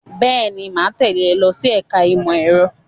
Bẹ́ẹ̀ ni, mà á tẹ́lẹ̀ ẹ lọ sí ẹ̀ka-ẹ̀kọ́ ìmọ̀-ẹ̀rọ.